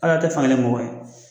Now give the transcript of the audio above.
Al'a' tɛ fan kelen mɔgɔ ye.